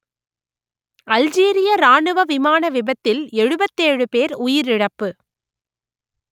அல்ஜீரிய இராணுவ விமான விபத்தில் எழுபத்தி ஏழு பேர் உயிரிழப்பு